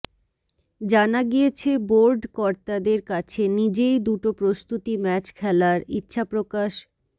জানা গিয়েছে বোর্ড কর্তাদের কাছে নিজেই দুটো প্রস্তুতি ম্যাচ খেলার ইচ্ছাপ্রকাশ